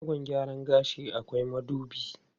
A shagon gyaran gashi akwai madubi.